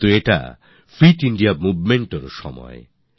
কিন্তু এটাই fit India Movementএর সময়